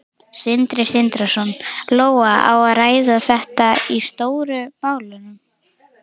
Sindri Sindrason: Lóa, á að ræða þetta í Stóru málunum?